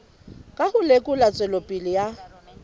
ka ho lekola tswelopele ya